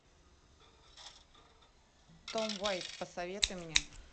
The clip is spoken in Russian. том уайт посоветуй мне